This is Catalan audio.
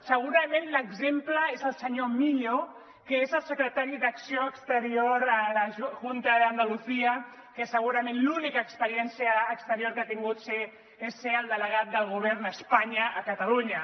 segurament l’exemple és el senyor millo que és el secretari d’acció exterior a la junta de andalucía que segurament l’única experiència exterior que ha tingut és ser el delegat del govern a espanya a catalunya